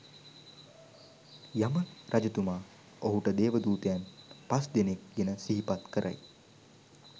යම රජතුමා ඔහුට දේවදූතයන් පස්දෙනෙක් ගැන සිහිපත් කරයි.